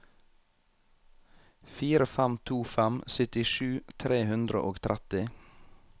fire fem to fem syttisju tre hundre og tretti